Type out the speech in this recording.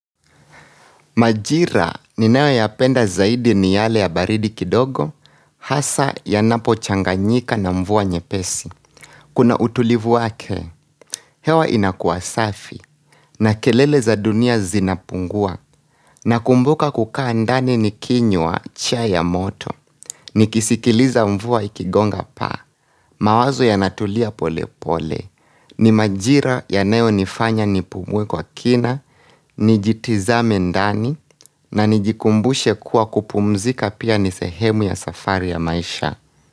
Majira ninayo ya penda zaidi ni yale ya baridi kidogo, hasa ya napo changanyika na mvua nyepesi. Kuna utulivu wake, hewa inakua safi, na kelele za dunia zinapungua, na kumbuka kukaa ndani nikinywa chai ya moto. Ni kisikiliza mvua ikigonga pa, mawazo ya natulia pole pole, ni majira yanayo nifanya nipumue kwa kina, nijitizame ndani, na nijikumbushe kuwa kupumzika pia nisehemu ya safari ya maisha.